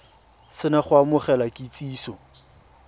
se na go amogela kitsiso